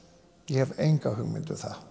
ég hef enga hugmynd um það